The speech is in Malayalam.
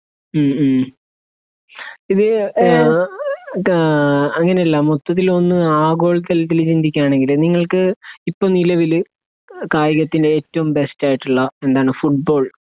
ഉം ഉം ഇത് ഏഹ് ഏഹ് അങ്ങനെയല്ല മൊത്തത്തിലൊന്ന് ആഘോളതലത്തിൽ ചിന്തിക്കാണെങ്കിൽ നിങ്ങൾക്ക് ഇപ്പൊ നിലവിൽ കായികത്തിന്റെ ഏറ്റോം ബേസ്റ്റായിട്ട്ള്ള എന്താണ് ഫുട്ബോൾ